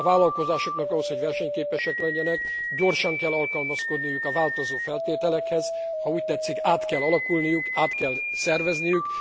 A vállalkozásoknak ahhoz, hogy versenyképesek legyenek, gyorsan kell alkalmazkodniuk a változó feltételekhez, ha úgy tetszik, át kell alakulniuk, át kell szerveződniük.